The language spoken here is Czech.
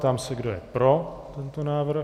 Ptám se, kdo je pro tento návrh.